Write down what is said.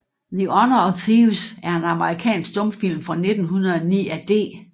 The Honor of Thieves er en amerikansk stumfilm fra 1909 af D